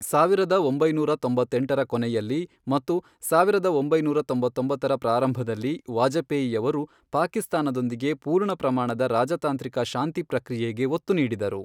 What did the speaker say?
ಸಾವಿರದ ಒಂಬೈನೂರ ತೊಂಬತ್ತೆಂಟರ ಕೊನೆಯಲ್ಲಿ ಮತ್ತು ಸಾವಿರದ ಒಂಬೈನೂರ ತೊಂಬತ್ತೊಂಬತ್ತರ ಪ್ರಾರಂಭದಲ್ಲಿ ವಾಜಪೇಯಿ ಅವರು ಪಾಕಿಸ್ತಾನದೊಂದಿಗೆ ಪೂರ್ಣ ಪ್ರಮಾಣದ ರಾಜತಾಂತ್ರಿಕ ಶಾಂತಿ ಪ್ರಕ್ರಿಯೆಗೆ ಒತ್ತು ನೀಡಿದರು.